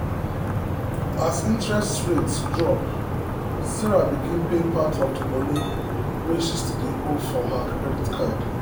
as interest rate drop sarah begin pay part of the money wey she still dey owe for her credit card.